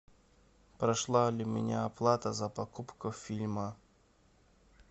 прошла ли у меня оплата за покупку фильма